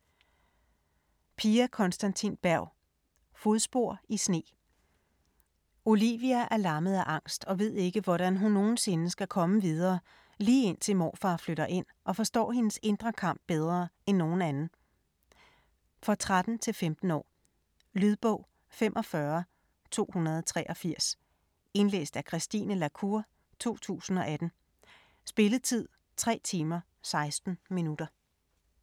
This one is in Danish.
Berg, Pia Konstantin: Fodspor i sne Olivia er lammet af angst og ved ikke, hvordan hun nogensinde skal komme videre, lige indtil morfar flytter ind og forstår hendes indre kamp bedre end nogen anden. For 13-15 år. Lydbog 45283 Indlæst af Christine la Cour, 2018. Spilletid: 3 timer, 16 minutter.